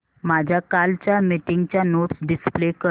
माझ्या कालच्या मीटिंगच्या नोट्स डिस्प्ले कर